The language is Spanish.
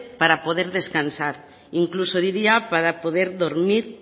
para poder descansar e incluso diría para poder dormir